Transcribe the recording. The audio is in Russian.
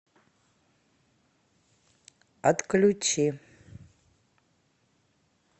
отключи